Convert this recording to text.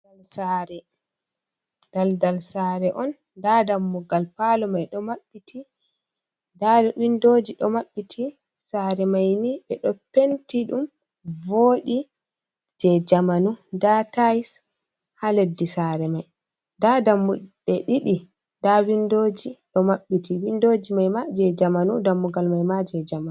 Daldal sare. Daldal saare on, nda dammugal palo mai ɗo maɓɓiti, nda windoji ɗo maɓɓiti. Saare mai ni ɓe ɗo penti ɗum vodi, jei jamanu. Nda tais haa leddi sare mai, nda dammuɗe ɗiɗi, nda windoji ɗo maɓɓiti. Windoji mai ma jei jamanu, dammugal mai ma jei jamanu.